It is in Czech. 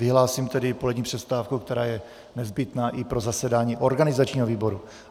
Vyhlásím tedy polední přestávku, která je nezbytná i pro zasedání organizačního výboru.